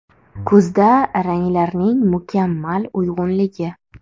Kuzda ranglarning mukammal uyg‘unligi .